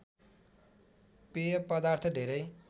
पेय पदार्थ धेरै